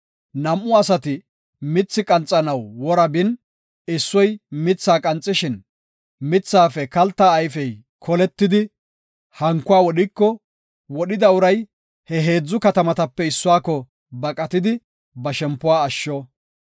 Nam7u asati mithi qanxanaw wora bin, issoy mithaa qanxishin, mithaafe kalta ayfey koletidi hankuwa wodhiko, wodhida uray ha heedzu katamatape issuwako baqatidi, ba shempuwa asho.